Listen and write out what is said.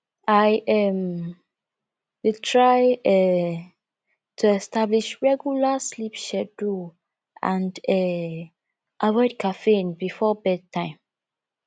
i um dey try um to establish regular sleep schedule and um avoid caffeine before bedtime